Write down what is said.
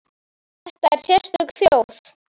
Þetta er sérstök þjóð.